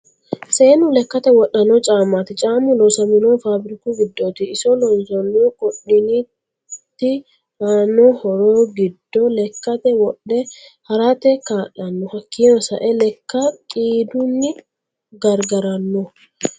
Seenu lekkate wodhano caamati caamu loosamanohu faabiriku giddoti iso loonsonihu qoduniti aano horro giddo lekkate wodhe harrate kaalano hakiino sa'e lekka qiiduni garigaranno.